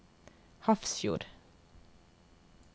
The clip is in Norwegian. Hafrsfjord